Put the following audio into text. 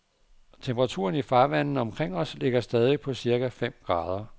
Temperaturen i farvandene omkring os ligger stadig på cirka fem grader.